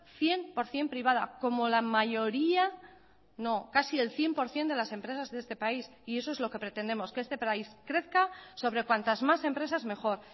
cien por ciento privada como la mayoría no casi el cien por ciento de las empresas de este país y eso es lo que pretendemos que este país crezca sobre cuantas más empresas mejor